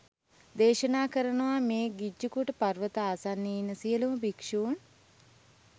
දේශනා කරනවා මේ ගිජ්ජකූට පර්වතය ආසන්නයේ ඉන්න සියලුම භික්ෂූන්